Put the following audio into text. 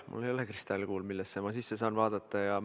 Mul ei ole kristallkuuli, millesse ma saaksin sisse vaadata.